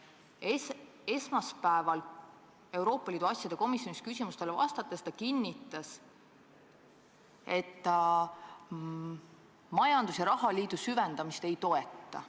Esmaspäeval Euroopa Liidu asjade komisjonis küsimustele vastates kinnitas ta, et ta majandus- ja rahaliidu süvendamist ei toeta.